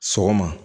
Sɔgɔma